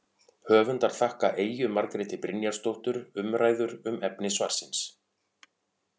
Höfundar þakka Eyju Margréti Brynjarsdóttur umræður um efni svarsins.